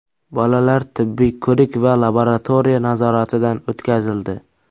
Bolalar tibbiy ko‘rik va laboratoriya nazoratidan o‘tkazildi.